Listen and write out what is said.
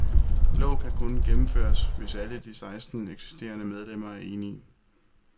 Loven kan kun gennemføres, hvis alle de seksten eksisterende medlemmer er enige.